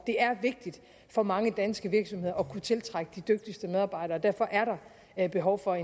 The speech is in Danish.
det er vigtigt for mange danske virksomheder at kunne tiltrække de dygtigste medarbejdere og derfor er der behov for